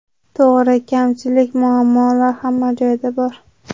To‘g‘ri kamchilik, muammolar hamma joyda bor.